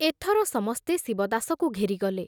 ଏଥର ସମସ୍ତେ ଶିବଦାସକୁ ଘେରିଗଲେ।